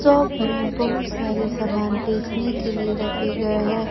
Shop में बहुत सारी सामान बेचने के लिए रखे गए हैं।